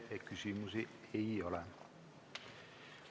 Teile küsimusi ei ole.